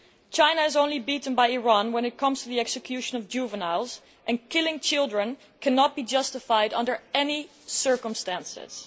China is beaten only by Iran when it comes to the execution of juveniles, and killing children cannot be justified under any circumstances.